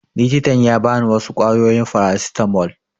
Likitan ya ba ni wasu ƙwayoyin farasitamol